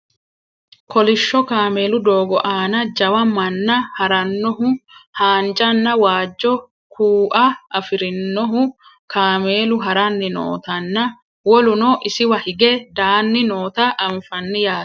kolishsho kameelu doogo aana jawa manna haarannohu haanjanna waajjo kuua afirinohu kameelu haranni nootanna woluno isiwa hige daann noota anfanni yaate